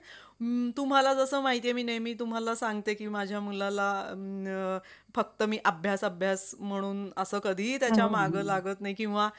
तुम्हाला जसं माहिती आहे मी नेहमी तुम्हाला सांगते की माझ्या मुलाला फक्त मी अभ्यास अभ्यास म्हणून असं कधीही त्याच्या मागं लागत नाही किंवा